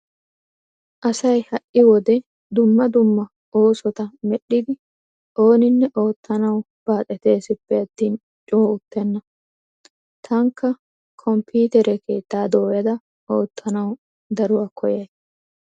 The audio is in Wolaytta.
Asay ha"i wode dumma dumma oosota medhdhidi ooninne oottanawu baaxetesippe attin coo uttenna. Taanikka komppitere keettaa dooyada oottanawu daruwa koyyays.